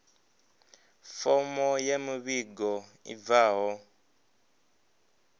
fomo ya muvhigo i bvaho